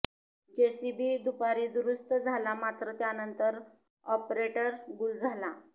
JCB दुपारी दुरुस्त झाला मात्र त्यानंतर ऑपरेटर गुल झाला